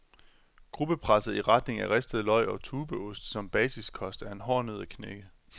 Gruppepresset i retning af ristede løg og tubeost som basiskost, er en hård nød at knække.